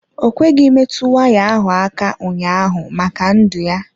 Ọ kweghị metụ waya ahụ aka ụnyaahụ maka ndụ ya.